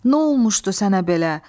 Nə olmuşdu sənə belə?